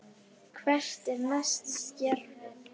Hvert er næsta skrefið?